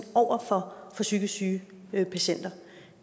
over for psykisk syge patienter